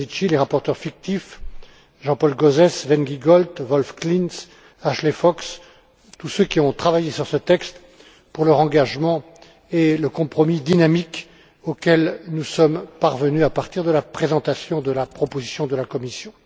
Domenici, les rapporteurs fictifs, Jean Paul Gauzès, Sven Giegold, Wolf Klinz, Ashley Fox, tous ceux qui ont travaillé sur ce texte, pour leur engagement et le compromis dynamique auquel nous sommes parvenus à partir de la présentation de la proposition de la Commission.